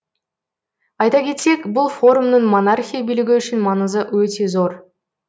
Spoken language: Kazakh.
айта кетсек бұл форумның монархия билігі үшін маңызы өте зор